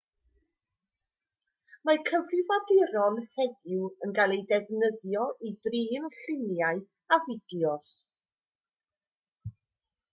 mae cyfrifiaduron heddiw yn cael eu defnyddio i drin lluniau a fideos